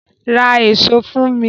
Ra èso fún mi!